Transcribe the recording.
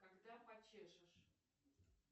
когда почешешь